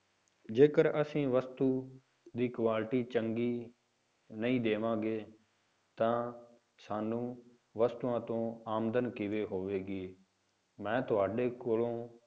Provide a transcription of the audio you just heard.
ਜੇਕਰ ਅਸੀਂ ਵਸਤੂ ਦੀ quality ਚੰਗੀ ਨਹੀਂ ਦੇਵਾਂਗਾ, ਤਾਂ ਸਾਨੂੰ ਵਸਤੂਆਂ ਤੋਂ ਆਮਦਨ ਕਿਵੇਂ ਹੋਵੇਗੀ, ਮੈਂ ਤੁਹਾਡੇ ਕੋਲੋਂ